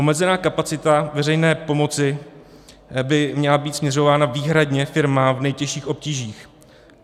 Omezená kapacita veřejné pomoci by měla být směřována výhradně firmám v nejtěžších obtížích.